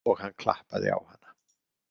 Og hann klappaði á hana.